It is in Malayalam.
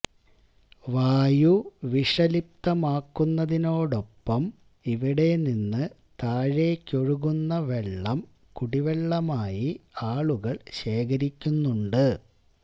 വായു വിഷലിപ്തമാക്കുന്നതിനോടൊപ്പം ഇവിടെ നിന്ന് താഴേക്കൊഴുകുന്ന വെള്ളം കുടിവെള്ളമായി ആളുകള് ശേഖരിക്കുന്നുണ്ട്